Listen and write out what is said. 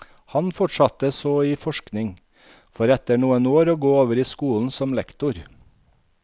Han fortsatte så i forskning, for etter noen år å gå over i skolen som lektor.